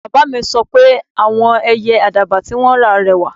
Baba mi sọ pe awọn Ẹyẹ Àdàbà ti won ra rẹwà